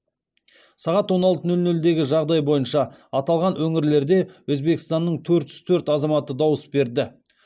сағат он алты нөл нөлдегі жағдай бойынша аталған өңірлерде өзбекстанның төрт жүз төрт азаматы дауыс берді